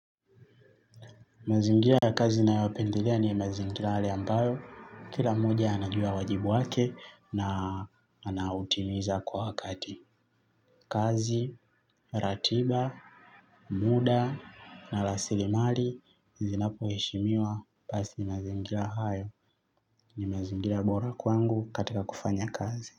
Mazingira ya kazi ninayopendelea ni mazingira yale ambayo kila mmoja anajua wajibu wake na anautimiza kwa wakati. Kazi, ratiba, muda na rasilimali nizinapoheshimiwa basi mazingira hayo ni mazingira bora kwangu katika kufanya kazi.